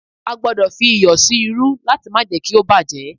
A gbọdọ̀ fí iyọ̀ sí irú láti má jé kí ó bá jẹ́.